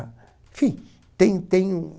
Enfim, tem tem um...